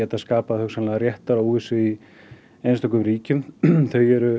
hugsanlega réttaróvissu í einstökum ríkjum þau eru